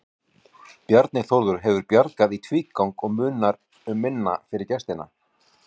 Bjarni Þórður hefur bjargað í tvígang og munar um minna fyrir gestina.